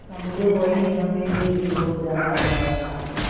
समझो वहीं हमें भी दिल हो जहाँ हमारा